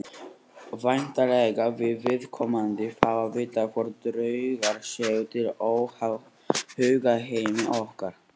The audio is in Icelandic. Væntanlega vill viðkomandi fá að vita hvort draugar séu til óháð hugarheimi okkar.